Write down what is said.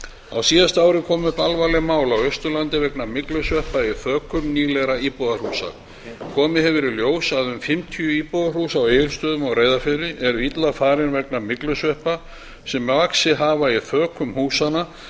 á síðasta ári kom upp alvarlegt mál á austurlandi vegna myglusveppa í þökum nýlegra íbúðarhúsa komið hefur í ljós að um fimmtíu íbúðarhús á egilsstöðum og reyðarfirði eru illa farin vegna myglusveppa sem vaxið hafa í þökum húsanna